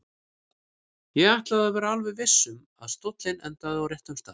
Ég ætlaði að vera alveg viss um að stóllinn endaði á réttum stað.